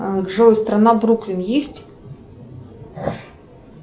джой страна бруклин есть